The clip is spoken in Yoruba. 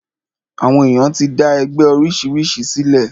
Àwọn èyàn ti dá oríṣiríṣi ẹgbẹ sílẹ̀.